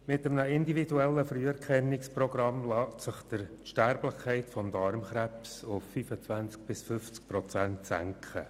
Mit einem individuellen Früherkennungsprogramm lässt sich die Sterblichkeit bei Darmkrebs auf 25 bis 50 Prozent senken.